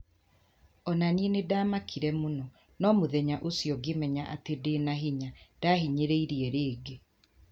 O na niĩ nĩ ndaamakire mũno, no mũthenya ũcio ngĩmenya atĩ ndĩ na hinya - ndahinyĩrĩirie rĩngĩ.